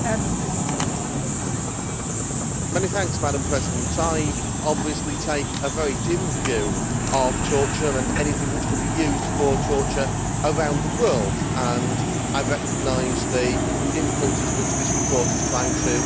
Madam President, I take a very dim view of torture and anything which could be used for torture around the world, and I recognize the difficulties which this report is trying to prevent and protect against in that respect.